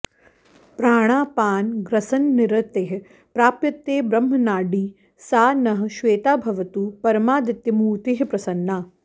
प्राणापानग्रसननिरतैः प्राप्यते ब्रह्मनाडी सा नः श्वेता भवतु परमादित्यमूर्तिः प्रसन्ना